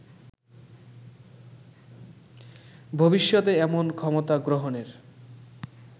ভবিষ্যতে এমন ক্ষমতা গ্রহণের